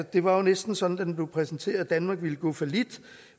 det var næsten sådan da den blev præsenteret at danmark ville gå fallit